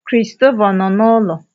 Christopher nọ n'ụlọ?